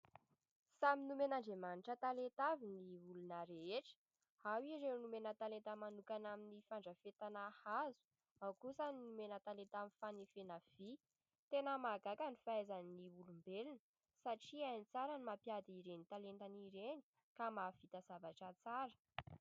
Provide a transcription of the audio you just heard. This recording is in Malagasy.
Samy nomen'andriamanitra talenta avy ny olona rehetra ao ireo nomena talenta manokana amin'ny fandrafetana hazo, ao kosa ny nomena talenta amin'ny fanefena vy. Tena mahagaga ny fahaizan'ny olombelona satria hainy tsara ny mampiady ireny talentany ireny ka mahavita zavatra tsara.